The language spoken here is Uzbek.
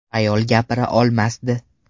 Ayol gapira olmasdi.